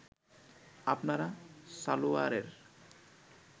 আপনারা সালোয়ারের